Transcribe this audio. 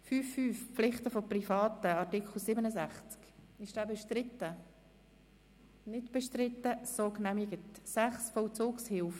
5.5 Pflichten von Privaten Art. 67 Angenommen 6. Vollzugshilfe